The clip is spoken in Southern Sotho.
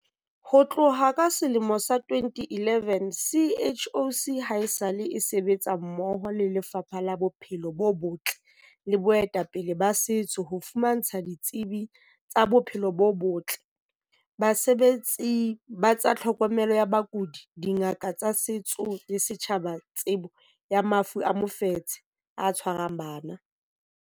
Ho tloha ka selemo sa 2011, CHOC haesale e sebetsa mmoho le Lefapha la Bophelo bo Botle le baetapele ba setso ho fumantsha ditsebi tsa bophelo bo botle, basebetsi ba tsa tlhokomelo ya bakudi, dingaka tsa setso le setjhaba tsebo ya mafu a mofetshe o tshwarang bana.